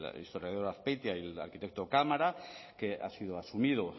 el historiador azpeitia y el arquitecto cámara que ha sido asumido